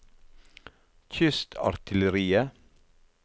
kystartilleriet